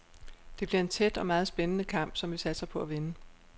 Det bliver en tæt og meget spændende kamp, som vi satser på at vinde.